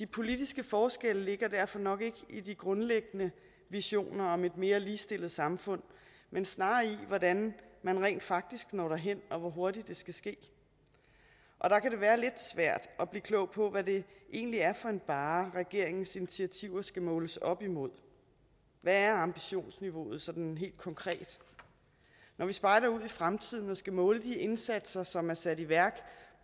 politiske forskelle ligger derfor nok ikke i de grundlæggende visioner om et mere ligestillet samfund men snarere i hvordan man rent faktisk når derhen og hvor hurtigt det skal ske og der kan det være lidt svært at blive klog på hvad det egentlig er for en barre regeringens initiativer skal måles op imod hvad er ambitionsniveauet sådan helt konkret når vi spejder ud i fremtiden og skal måle de indsatser som er sat i værk